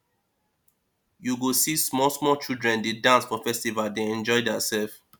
you go see small small children dey dance for festival dey enjoy their self